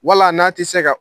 Wala n'a tɛ se ka